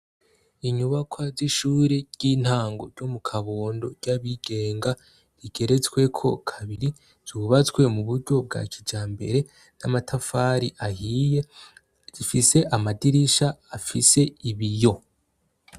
Inyubakwa z'ishure ry'intango ryo mu Kabondo ry'abigenga rigeretsweko kabiri zubatswe mu buryo bwa kijambere n'amatafari ahiye zifise amadirisha afise ibiyo.